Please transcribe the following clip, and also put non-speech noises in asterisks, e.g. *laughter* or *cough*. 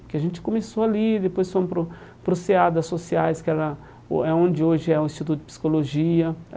Porque a gente começou ali, depois fomos para o para o CEA da Sociais, que era *unintelligible* é onde hoje é o Instituto de Psicologia.